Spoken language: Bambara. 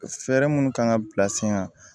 Fɛɛrɛ minnu kan ka bila sen kan